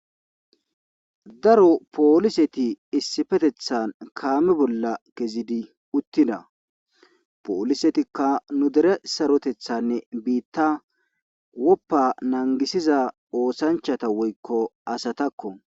daro pooliseti issifetethan kaame bolla kezidi uttida poolisetikka nu dere sarotethanne biitta woppa nangisiza oosanchata woykko asatakko